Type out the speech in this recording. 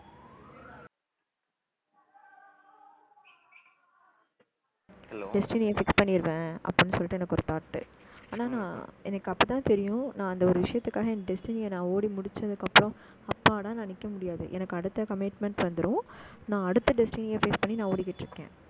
destiny fix பண்ணிடுவேன் அப்படின்னு சொல்லிட்டு, எனக்கு ஒரு thought ஆனா நான் எனக்கு அப்பதான் தெரியும். நான் அந்த ஒரு விஷயத்துக்காக என் destiny அ, நான் ஓடி முடிச்சதுக்கப்புறம் அப்பாடா நான் நிக்க முடியாது. எனக்கு, அடுத்த commitments வந்துரும். நான், அடுத்த destiny அ face பண்ணி நான் ஓடிக்கிட்டு இருக்கேன்.